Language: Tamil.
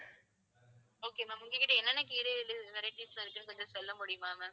okay ma'am உங்ககிட்ட என்னென்ன கீரைகள் varieties ல இருக்கு கொஞ்சம் சொல்லமுடியுமா ma'am.